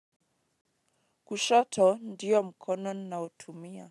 Kushoto ndiyo mkono ninaotumia.